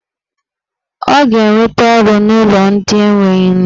Ọ ga-enweta ọrụ n'ụlọ ndị enwe nne.